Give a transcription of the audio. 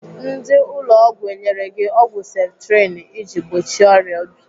Ndị ụlọ ọgwụ enyere gị ọgwụ septrin iji gbochie ọrịa obi?